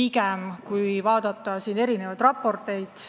Meil on koostatud erinevaid raporteid.